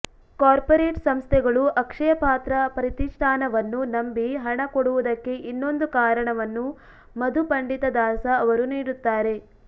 corporate ಸಂಸ್ಥೆಗಳು ಅಕ್ಷಯಪಾತ್ರ ಪ್ರತಿಷ್ಠಾನವನ್ನು ನಂಬಿ ಹಣ ಕೊಡುವುದಕ್ಕೆ ಇನ್ನೊಂದು ಕಾರಣವನ್ನು ಮಧುಪಂಡಿತ ದಾಸ ಅವರು ನೀಡುತ್ತಾರೆ